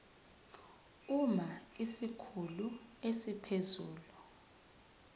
uma isikhulu esiphezulu